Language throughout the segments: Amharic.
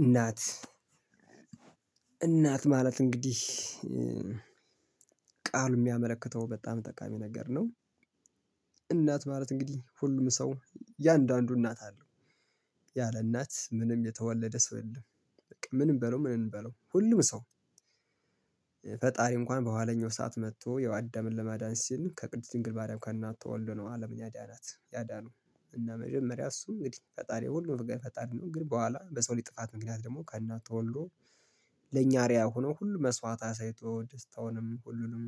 እናት እናት ማለት እንግዲህ ቃሉ የሚያመለክተው በጣም ጠቃሚ ነገር ነው። እናት ማለት እንግዲህ ሁሉም ሰው እያንዳንዱ እናት አለው። ያለ እናት ምንም የተወለደ ሰው የለም። በቃ ምን እንበለው ምን እንበለው ሁሉም ሰው ፈጣሪ እንኳን በኋለኛው ሰዓት መጥቶ ያው አዳምን ለማዳን ሲል ከቅድስት ድንግል ማርያም ከእናቱ ተወልዶ ነው አለምን ያዳናት ያዳነው እና መጀመሪያ እሱ እንግዲህ ፈጣሪ ሁሉም ነገር ፈጣሪ ነው ግን በኋላ በሰው ልጅ ጥፋት ምክንያት ደግሞ ከእናቱ ተወልዶ ለኛ አርአያ ሆኖ ሁሉ መስዋዕት አሳይቶ ደስታውንም ሁሉንም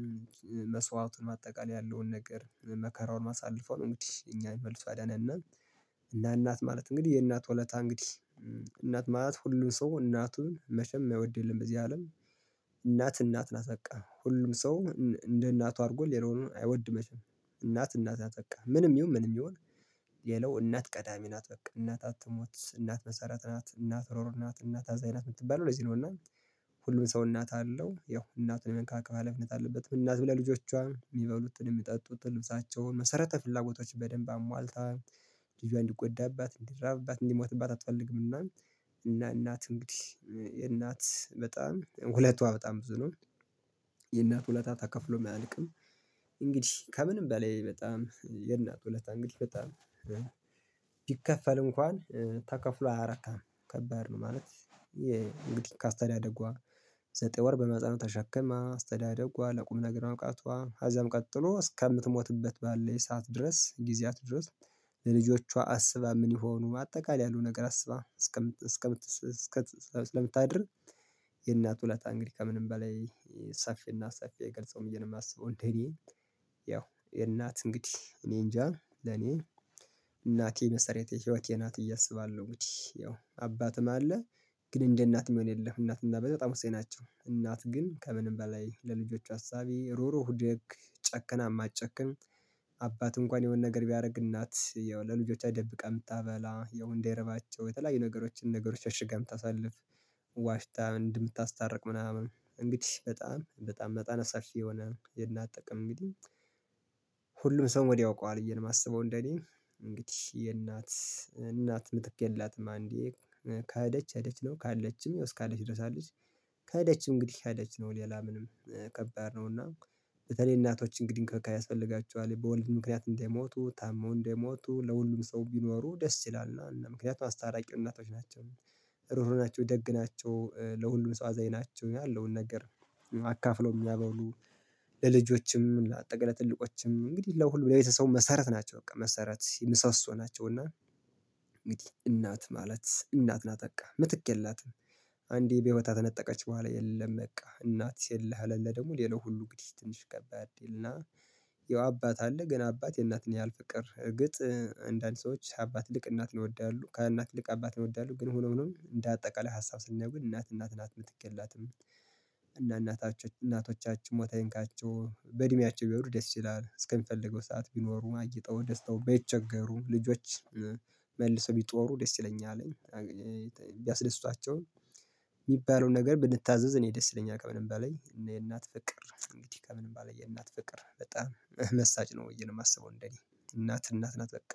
መስዋዕቱን ባጠቃላይ ያለውን ነገር መከራውን አሳለፎ ነው። እንግዲህ እኛን መልሶ ያዳነን እና እና እናት ማለት እንግዲህ የእናት ወለታ እንግዲህ እናት ማለት ሁሉም ሰው እናቱን መቼም የማይወድ የለም። በዚህ አለም እናት ናት በቃ ሁሉም ሰው እንደ እናቱ አድርጎ ሌላውን አይወድም። መቼም እናት እናት ናት በቃ ምንም ይሁን ምንም ይሁን የለው እናት ቀዳሚ ናት በቃ እናት አትሞት እናት መሰረት ናት እናት ሮሮ ናት እናት አዛኝ ናት የምትባለው ለዚህ ነው። እና ሁሉም ሰው እናት አለው ያው እናቱን የመንካከብ ሀላፊነት አለበት እናትም ለልጆቿ የሚበሉትን የሚጠጡትን ልብሳቸውን መሰረተ ፍላጎቶች በደንብ አሟልታ ልጇን እንዲጎዳባት እንዲራብባት እንዲሞትባት አትፈልግምና። እና እናት እንግዲህ የእናት በጣም ውለቷዋ በጣም ብዙ ነው። የእናት ውለታ ተከፍሎም አያልቅም። እንግዲህ ከምንም በላይ በጣም የእናት ውለታ እንግዲህ በጣም ቢከፈል እንኳን ተከፍሎ አያረካም ከባድ ነው ማለት። እንግዲህ ከአስተዳደጓ ዘጠኝ ወር በማህፀኗ ተሸክማ አስተዳደጓ ለቁም ነገር ማብቃቷ ከዛም ቀጥሎ እስከምትሞትበት ባለ ሰዓት ድረስ ጊዜያት ድረስ ለልጆቿ አስባ ምን ይሆኑ አጠቃላይ ያሉ ነገር አስባ እስከ እስከ እስከ ስለምታድር። የእናት ውለታ እንግዲህ ከምንም በላይ ሰፊና ሰፊ አይገልጸውም ብየ ነው የማስበው። እንደኔ ያው የእናት እንግዲህ እኔ እንጃ ለኔ እናቴ መሰረቴ ህይወቴ ናት ብየ አስባለሁ። እንዲህ ያው አባትም አለ ግን እንደ እናት ምን የለ እናት እና በጣም ወሳኝ ነች። እናት ግን ከምንም በላይ ለልጆቿ አሳቢ ሩህሩህ ደግ ጨክና የማትጨክን አባት እንኳን የሆነ ነገር ቢያደርግ እናት ያው ለልጆቻ ደብቃ የምታበላ ያው እንዳይርባቸው የተለያዩ ነገሮችን ነገሮች ሽሽጋ የምታሳልፍ ዋሽታ እንድናስታርቅ ምናምን እንግዲህ በጣም በጣም መጠነ ሰፊ የሆነ የእናት ጥቅም እንግዲህ። ሁሉም ሰው ወዲያው ያውቀዋል ብየ ነው የማስበው። እንደኔ እንግዲህ የእናት እናት ምትክ የላትም። አንዴ ከሄደች ሄደች ነው ካለችም እስካለች ድረስ አለች። ከሄደች እንግዲህ ሄደች ነው ሌላ ምንም ከባድ ነውና። በተለይ እናቶች እንግዲህ እንክብካቤ ያስፈልጋቸዋል በወሊድ ምክንያት እንዳይሞቱ ታመው እንዳይሞቱ ለሁሉም ሰው ቢኖሩ ደስ ይላል እና ምክንያቱ አስታራቂ እናቶች ናቸው። ሩህሩህ ናቸው ደግ ናቸው ለሁሉም ሰው አዛኝ ናቸው ያለውን ነገር አካፍለው የሚያበሉ ለልጆችም ትልቆችም እንግዲህ ለሁሉ ለቤተሰቡም መሰረት ናቸው። በቃ መሰረት ምሰሶ ናቸው። እና እናት ማለት እናት ናት በቃ ምትክ የላትም። አንዴ በህይወት ከተነጠቀች በኋላ የለም። በቃ እናት የለህ አለለ ደግሞ ሌላው ሁሉ እንግዲህ ትንሽ ከባድ እና ያው አባት አለ ግን አባት የእናትን ያህል ፍቅር እርግጥ አንዳንድ ሰዎች አባት ልክ እናት ይወዳሉ ከእናት ይልቅ አባት ይወዳሉ ግን ሆኖ ሆኖ እንደ አጠቃላይ ሀሳብ ስናየው ግን እናት እናት ናት ምትክ የላትም። እና እናታችን እናቶቻችሁ ሞት አይንካቸው በእድሜያቸው ቢነሩ ደስ ይላል እስከሚፈልገው ሰዓት ቢኖሩ አጊጠው ደስታው በተቸገሩ ልጆች መልሰው ቢጦሩ ደስ ይለኛል። ቢያስደስቷቸውም የሚባለውን ነገር ብንታዘዝ እኔ ደስ ይለኛል። ከምንም በላይ የእናት ፍቅር ከምንም በላይ የእናት ፍቅር በጣም መሳጭ ነው ብዬ ነው የማስበው። እንደኔ እናት እናት ናት በቃ